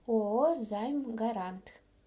ооо займ гарант